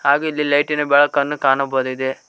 ಹಾಗು ಇಲ್ಲಿ ಲೈಟಿ ನ ಬೆಳಕನ್ನು ಕಾಣಬಹುದಿದೆ.